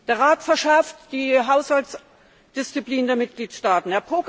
Der Rat verschärft die Haushaltsdisziplin der Mitgliedstaaten.